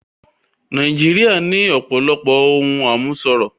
Nàìjíríà ní ọ̀pọ̀lọpọ̀ ohun àmúṣọrọ̀